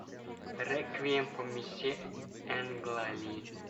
реквием по мечте энга ли